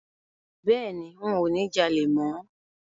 Bẹ́ẹ̀ni, ń ò ní jalè mọ